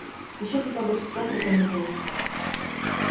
ещё хотя бы часок рекомендую